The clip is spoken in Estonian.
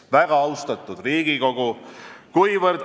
Väga austatud Riigikogu!